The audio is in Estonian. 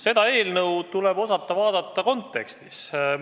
Seda eelnõu tuleb osata vaadata kontekstis.